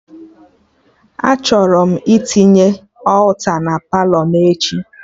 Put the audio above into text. Achọrọ m itinye alta na Palọ m echi